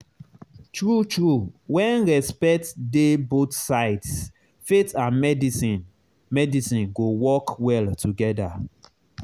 true true when respect dey both sides faith and medicine medicine go work well together.